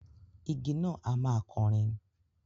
Igi náà a máa kọrin.